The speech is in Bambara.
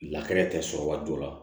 tɛ sɔrɔ waati dɔ la